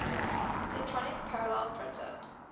centronics parallel printer